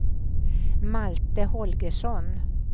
Malte Holgersson